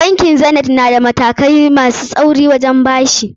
Bankin Zanith na da matakai masu tsauri wajen bada bashi.